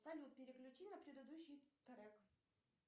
салют переключи на предыдущий трек